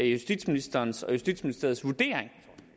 justitsministerens og justitsministeriets vurdering